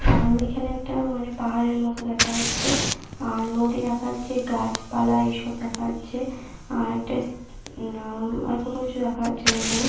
আমাদের এখানে একটা মানে পাহাড়ের মতো দেখা যাচ্ছে আর নদী দেখা যাচ্ছে গাছপালা এইসব দেখা যাচ্ছে আর একটা উম আর কোনো কিছু দেখা যাচ্ছে না এখানে।